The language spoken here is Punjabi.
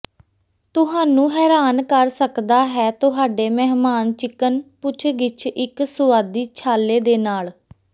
ਤੁਹਾਨੂੰ ਹੈਰਾਨ ਕਰ ਸਕਦਾ ਹੈ ਤੁਹਾਡੇ ਮਹਿਮਾਨ ਚਿਕਨ ਪੁੱਛਗਿੱਛ ਇੱਕ ਸੁਆਦੀ ਛਾਲੇ ਦੇ ਨਾਲ